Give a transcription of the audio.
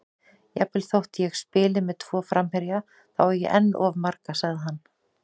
Jafnvel þó ég spili með tvo framherja, þá á ég enn of marga, sagði hann.